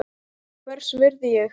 Hvers virði er ég?